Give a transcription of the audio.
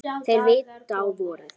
Þeir vita á vorið.